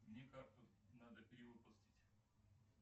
мне карту надо перевыпустить